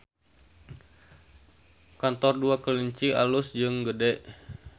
Kantor Dua Kelinci alus jeung gede